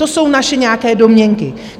To jsou naše nějaké domněnky.